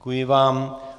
Děkuji vám.